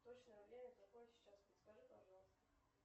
точное время какое сейчас подскажи пожалуйста